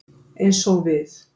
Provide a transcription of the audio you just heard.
Eins og við.